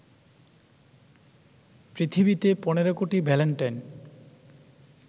পৃথিবীতে ১৫ কোটি ভ্যালেন্টাইন